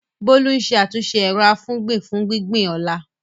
Bolu ń ṣe àtúnṣe ero-afugbin fún gbígbìn ọ̀la.